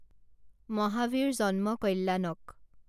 মাহাভিৰ জন্ম কল্যাণক